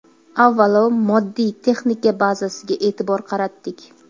Avvalo moddiy-texnika bazasiga e’tibor qaratdik.